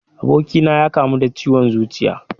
Abokina ya kamu da ciwon zuciya